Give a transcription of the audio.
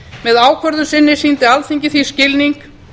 með ákvörðun sinni sýndi alþingi því skilning